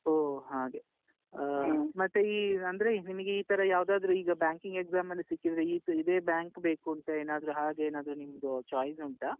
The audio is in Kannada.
ಹೊ ಹಾಗೆ ಆಹ್ ಮತ್ತೆ ಈ ಅಂದ್ರೆ ನಿಮ್ಗೆ ಈತರ ಯಾವುದಾದ್ರು ಈಗ banking exam ಅಲ್ಲಿ ಸಿಕ್ಕಿದ್ರೆ, ಈ ಇದೇ bank ಬೇಕೂಂತ ಏನಾದ್ರು ಹಾಗೆ ಏನಾದ್ರು ನಿಮ್ದು choice ಉಂಟಾ?